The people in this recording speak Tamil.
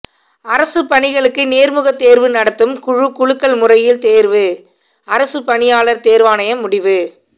அரசு பணிகளுக்கு நேர்முகத்தேர்வு நடத்தும் குழு குலுக்கல் முறையில் தேர்வு அரசுபணியாளர் தேர்வாணையம் முடிவு